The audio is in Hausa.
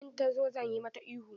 In ta zo zan yi mata ihu.